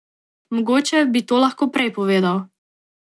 Mogoče bi to lahko prej povedal.